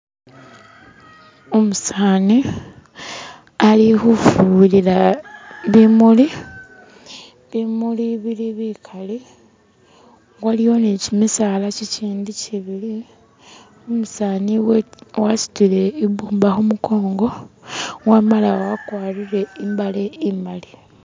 umusaani ali hufuyilila bimuli bimuli bili bikali waliyo nikyimisaala kyikyindi kyibili umusaani wasutile ibumba humukongo wamala wakwarire imbale imali